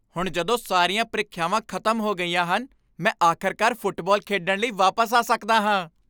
ਹੁਣ ਜਦੋਂ ਸਾਰੀਆਂ ਪ੍ਰੀਖਿਆਵਾਂ ਖਤਮ ਹੋ ਗਈਆਂ ਹਨ, ਮੈਂ ਆਖਰਕਾਰ ਫੁੱਟਬਾਲ ਖੇਡਣ ਲਈ ਵਾਪਸ ਆ ਸਕਦਾ ਹਾਂ।